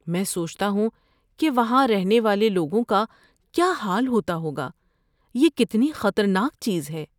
میں سوچتا ہوں کہ وہاں رہنے والے لوگوں کا کیا حال ہوتا ہوگا، یہ کتنی خطرناک چیز ہے!